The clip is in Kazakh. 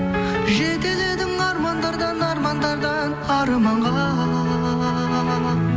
жетеледің армандардан армандардан арманға